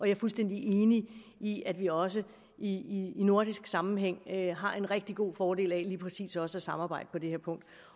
er fuldstændig enig i at vi også i nordisk sammenhæng har en rigtig god fordel af lige præcis også at samarbejde på det her punkt